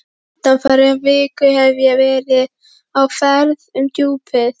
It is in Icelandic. Undanfarna viku hef ég verið á ferð um Djúpið.